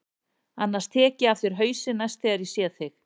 Annars tek ég af þér hausinn næst þegar ég sé þig.